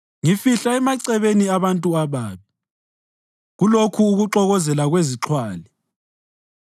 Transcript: Ngifihla emacebeni abantu ababi, kulokho kuxokozela kwezixhwali.